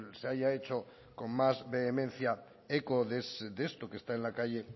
se haya hecho con más vehemencia eco de esto que está en la calle